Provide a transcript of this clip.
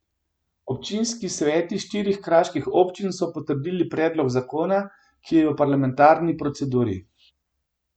Občinski sveti štirih kraških občin so potrdili predlog zakona, ki je v parlamentarni proceduri.